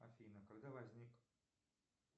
афина когда возник